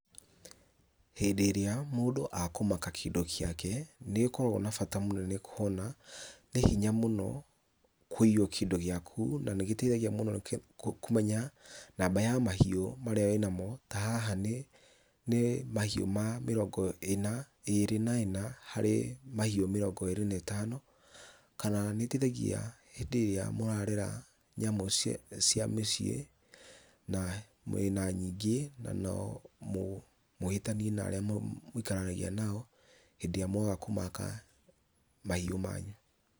Hĩndĩ ĩrĩa mũndũ akũmaka kĩndũ gĩake, nĩgĩkoragwo na bata mũnene kũhona nĩ hinya mũno kuiywo kĩndũ gĩaku, na nĩgĩteithagia mũno kũmenya namba ya mahiũ marĩa wĩna mo, ta haha mahiu ma mĩrongo ĩrĩ na ĩna, harĩ mahiu mĩrongo ĩrĩ na ĩtano, kana nĩ ĩteithagia hĩndĩ ĩrĩa mũrarera nyamũ cia mĩciĩ na mwĩna nyingĩ , na no mũhĩtania na arĩa mũikaranagia nao hĩndĩ ĩrĩa mwaga kũmaka mahiũ manyu.